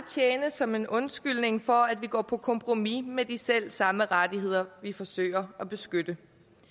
som en undskyldning for at vi går på kompromis med de selv samme rettigheder vi forsøger at beskytte